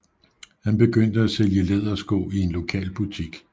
Han begyndte at sælge lædersko i en lokal butik